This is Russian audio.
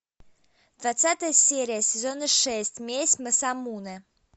двадцатая серия сезона шесть месть масамуне